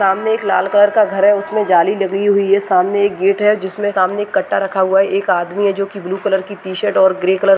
सामने एक लाल कलर का घर है उसमें जाली लगी हुई है सामने एक गेट है जिसमें सामने एक कट्टा रखा हुआ है एक आदमी है जोकि ब्लू कलर की टी शर्ट और ग्रे कलर --